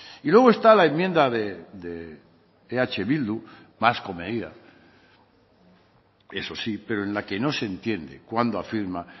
y luego está la enmienda de eh bildu más comedida eso sí pero en la que no se entiende cuando afirma